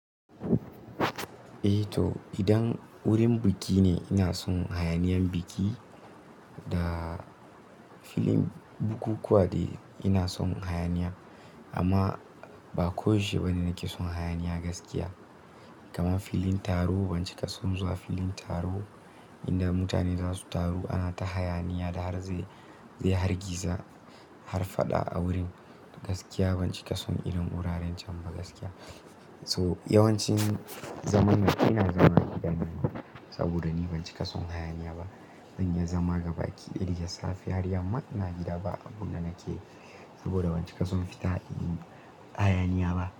Eh to, idan wurin biki ne ina son hayaniyan biki da filin bukukuwa dai ina son hayaniya. Amma ba ko yaushe ba ne nake son hayaniya gaskiya. Kaman filin taro, ban cika son zuwa filin taro inda mutane za su taru ana ta hayaniya da har zai, zai hargiza har faɗa a wurin. Gaskiya ban cika son irin wuraren can ba gaskiya. So yawancin zaman na ina zama ni daya saboda ni ban cika son hayaniya ba. Zan iya zama gaba ki daya da safe har yamma ina gida ba abunda nakeyi saboda ban cika son fita yin hayaniya ba.